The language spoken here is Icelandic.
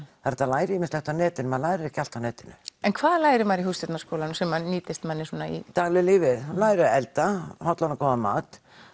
er hægt að læra ýmislegt á netinu en maður lærir ekki allt á netinu en hvað lærir maður í Hússtjórnarskólanum sem nýtist manni í daglegu lífi lærir að elda hollan og góðan mat